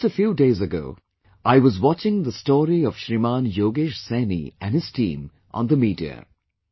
Just a few days ago, I was watching the story of Shriman Yogesh Saini and his team on the media